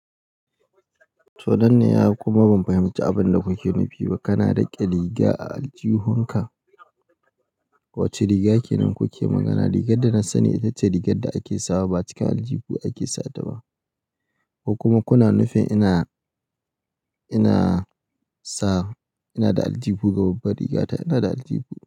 To nan ne, yaya kuma ban fahimci abin da kuke nufi ba. Kana riƙe riga a aljihunka? Wacce riga kenan kuke magana? Rigar da na sani ita ce rigar da ake sawa ba cikin aljihu ake sawa ba. Ko kuma kuna nufin ina, ina sa ina da aljihu ga babbar rigata, ina da aljihu.